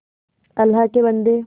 अल्लाह के बन्दे